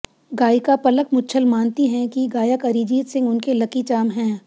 गायिका पलक मुच्छल मानती हैं कि गायक अरिजीत सिंह उनके लकी चार्म हैं